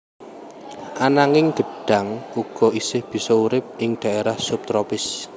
Ananging gedhang uga isih bisa urip ing dhaérah sub tropis